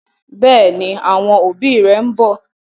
Bẹẹni, àwọn òbí rẹ ḿbọ̀